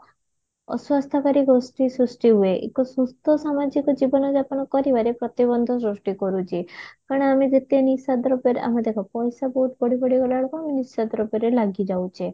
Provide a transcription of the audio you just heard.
ଅସ୍ୱାସ୍ଥ୍ୟକାରି ଗୋଷ୍ଠୀ ସୃଷ୍ଠୀ ହୁଏ ଏକ ସୁସ୍ଥ ସାମାଜିକ ଜୀବନଯାପନ କରିବାରେ ପ୍ରତିବନ୍ଧ ସୃଷ୍ଟି କରୁଛି କାରଣ ଆମେ ଯେତେ ନିଶାଦ୍ରବ୍ୟରେ ଆମେ ଦେଖ ପଇସା ବହୁତ ବଢି ବଢି ଗଲାବେଳକୁ ନିଶାଦ୍ରବ୍ୟରେ ଲାଗିଯାଉଛେ